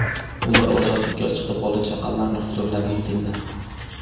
Ular ozodlikka chiqib, bola-chaqalarining huzurlariga keldi.